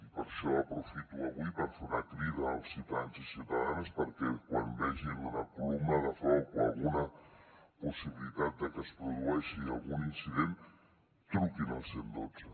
i per això aprofito avui per fer una crida als ciutadans i ciutadanes perquè quan vegin una columna de foc o alguna possibilitat de que es produeixi algun incident truquin al cent i dotze